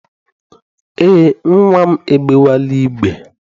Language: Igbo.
Eé, nnwa m egbewela igbe.